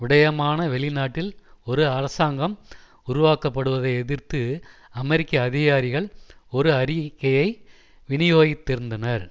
விடயமான வெளிநாட்டில் ஒரு அரசாங்கம் உருவாக்கப்படுவதை எதிர்த்து அமெரிக்க அதிகாரிகள் ஒரு அறிக்கையை வினியோகித்திருந்தனர்